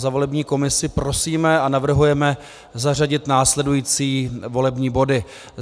Za volební komisi prosíme a navrhujeme zařadit následující volební body: